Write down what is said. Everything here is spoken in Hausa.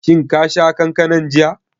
Shin ka sha kankanan jiya?